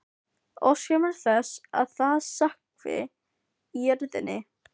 Óska mér þess að það sökkvi í jörðina.